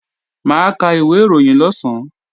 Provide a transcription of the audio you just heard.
Mà á ka ìwé ìròyìn lọ̀sán